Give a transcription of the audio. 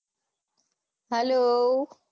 Hello